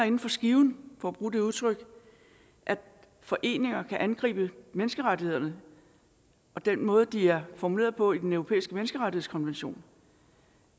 inden for skiven for at bruge det udtryk at foreninger kan angribe menneskerettighederne og den måde de er formuleret på i den europæiske menneskerettighedskonvention